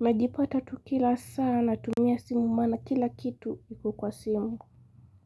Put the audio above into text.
Najipata tu kila saa natumia simu maana kila kitu iko kwa simu.